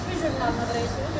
Çox gözəl mənə belə.